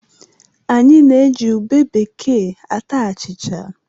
Anyị na-eji ube bekee ata achịcha.